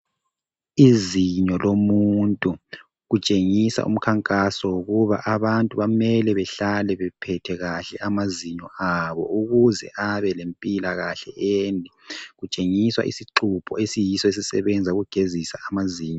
Izinyo lomuntu kutshengisa umkhankaso wokuba abantu bamele behlale bephethe kahle amazinyo abo ukuze abe lempilakahle ende. Kutshengisa isixubho esiyiso esisebenza ukugezisa amazinyo.